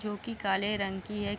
जो की काले रंग की है।